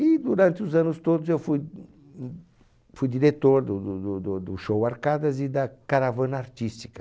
E durante os anos todos eu fui unhum fui diretor do do do do do show Arcadas e da caravana artística.